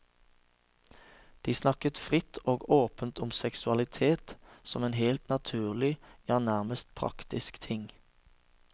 De snakket fritt og åpent om seksualitet, som en helt naturlig, ja, nærmest praktisk ting.